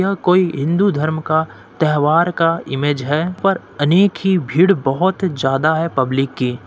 यह कोई हिन्दू धर्म का त्योहर का इमेज है पर अनेक ही भिड़ बहुत ही ज्यादा है पब्लिक की--